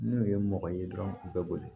N'o ye mɔgɔ ye dɔrɔn u bɛ boli